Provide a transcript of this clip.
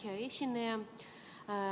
Hea esineja!